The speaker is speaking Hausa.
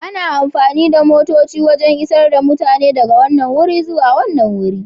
Ana amfani da motoci don isar da mutane daga wannan wuri zuwa wani.